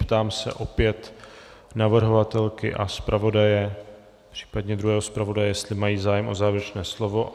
Ptám se opět navrhovatelky a zpravodaje, případně druhého zpravodaje, jestli mají zájem o závěrečné slovo.